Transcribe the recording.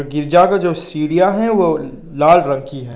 गिरजा का जो सीढ़िया है वो लाल रंग की हैं।